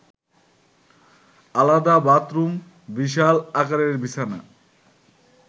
আলাদা বাথরুম, বিশাল আকারের বিছানা